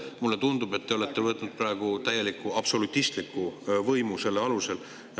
Mulle tundub, et te olete võtnud selle alusel praegu täieliku absolutistliku võimu.